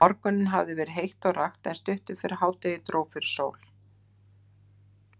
Um morguninn hafði verið heitt og rakt, en stuttu fyrir hádegi dró fyrir sól.